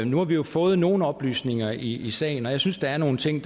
nu har vi jo fået nogle oplysninger i sagen og jeg synes der er nogle ting